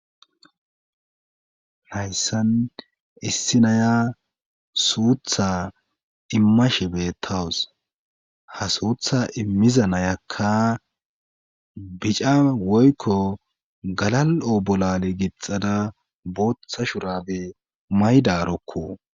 Hayssan issi naya suutha imma shibe tawus ha suutha immiza nayakka bica woykko galal7o bolale gixada booththa shurabe maydarokko.